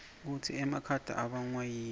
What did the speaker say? kutsi emakhata ibangwayini